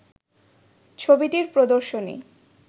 “ছবিটির প্রদর্শনী